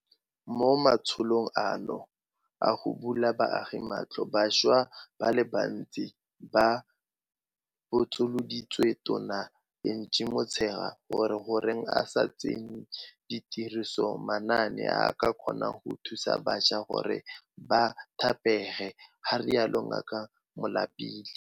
Mo matsholong ano a go bula baagi matlho, bašwa ba le bantsi ba botsoloditse Tona Angie Motshekga gore goreng a sa tsenye tirisong manaane a a ka kgonang go thusa bašwa gore ba thapege, ga rialo Ngaka Malapile.